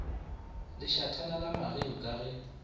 lešathana la mageu ka ge